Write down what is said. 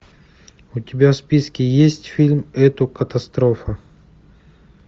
у тебя в списке есть фильм это катастрофа